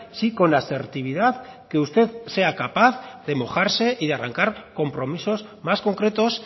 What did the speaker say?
sí con la asertividad que usted sea capaz de mojarse y de arrancar compromisos más concretos